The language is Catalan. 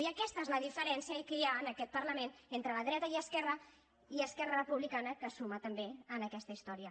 i aquesta és la diferència que hi ha en aquest parlament entre la dreta i esquerra i esquerra republicana que se suma també en aquesta història